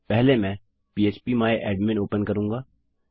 पहले मैं पह्प माय एडमिन ओपन करूँगा